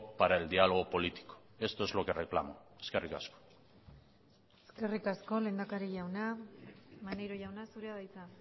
para el diálogo político esto es lo que reclamo eskerrik asko eskerrik asko lehendakari jauna maneiro jauna zurea da hitza